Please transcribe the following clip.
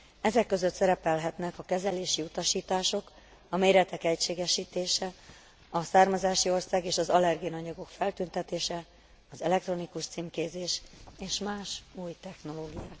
Ezek között szerepelhetnek a kezelési utasítások, a méretek egységesítése, a származási ország és az allergén anyagok feltüntetése, az elektronikus címkézés és más új technológiák.